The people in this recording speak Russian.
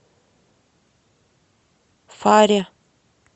фаре